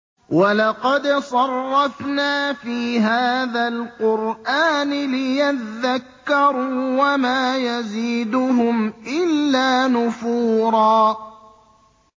وَلَقَدْ صَرَّفْنَا فِي هَٰذَا الْقُرْآنِ لِيَذَّكَّرُوا وَمَا يَزِيدُهُمْ إِلَّا نُفُورًا